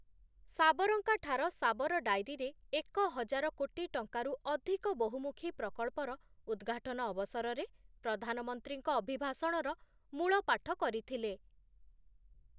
ସାବରକାଂଠାର ସାବର ଡାଏରୀରେ ଏକ ହଜାର କୋଟି ଟଙ୍କାରୁ ଅଧିକ ବହୁମୁଖୀ ପ୍ରକଳ୍ପର ଉଦ୍‌ଘାଟନ ଅବସରରେ, ପ୍ରଧାନମନ୍ତ୍ରୀଙ୍କ ଅଭିଭାଷଣର ମୂଳପାଠ କରିଥିଲେ ।